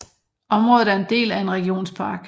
Området er en del af en regionspark